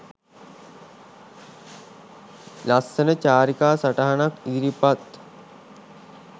ලස්සන චාරිකා සටහනක් ඉදිරිපත්